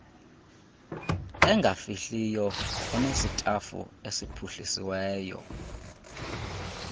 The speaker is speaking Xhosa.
engafihliyo onesitafu esiphuhlisiweyo